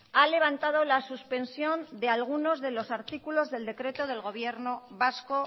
ha levantado la suspensión de algunos de los artículos del decreto del gobierno vasco